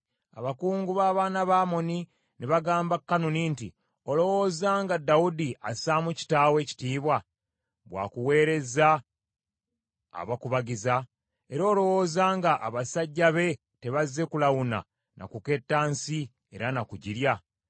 abakungu b’abaana ba Amoni ne bagamba Kanuni nti, “Olowooza nga Dawudi assaamu kitaawo ekitiibwa, bwakuweerezza abakubagizza? Era olowooza nga, abasajja be tebazze kulawuna na kuketta nsi era na kugirya?”